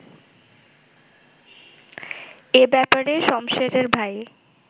এ ব্যাপারে শমসেরের ভাই